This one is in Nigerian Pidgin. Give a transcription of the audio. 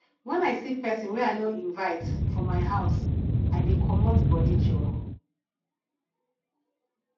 wen i see pesin wey i no invite for my for my house i dey comot body joor